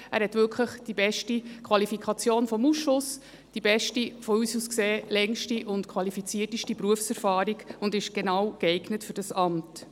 Er hat wirklich die beste Qualifikation vom Ausschuss erhalten, hat unseres Erachtens die beste, längste und qualifizierteste Berufserfahrung und ist für genau dieses Amt geeignet.